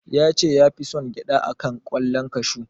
Ya ce ya fi son gyaɗa a kan ƙwallon kashu.